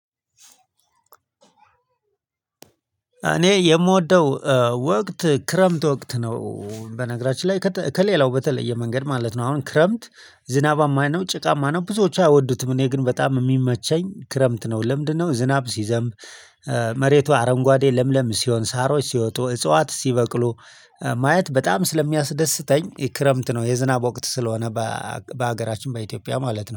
እኔ የምወደው ወቅት ክረምት ወቅት ነው በነገራችን ላይ ከሌላው በተለየ መንገድ ማለት ነው። አሁን ክረምት ዝናባማ ነው ጭቃማ ነው ብዙዎቹ አይወዱትም እኔ ግን በጣም የሚመቸኝ ክረምት ነው። ለምንድነው ዝናብ ሲዘንብ መሬቱ አረንጓዴ ለምለም ሲሆን ሳሮች ሲወጡ እጽዋት ሲበቅሉ ማየት በጣም ስለሚያስደስተኝ ክረምት ነው የዝናብ ወቅት ስለሆነ። በሀገራችን በኢትዮጵያ ማለት ነው